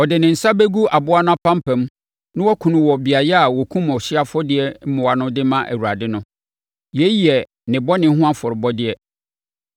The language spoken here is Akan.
Ɔde ne nsa bɛgu aboa no apampam na wakum no wɔ beaeɛ a wɔkum ɔhyeɛ afɔdeɛ mmoa no de ama Awurade no. Yei yɛ ne bɔne ho afɔrebɔdeɛ.